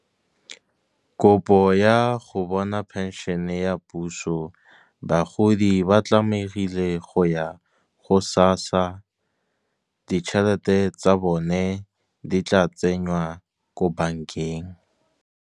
Kopo ya go bona pension ya puso, bagodi ba tlamegile go ya go SASSA. Ditšhelete tsa bone di tla tsenywa ko bank-eng.